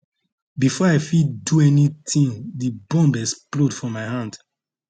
bifor i fit do anytin di bomb explode for my hand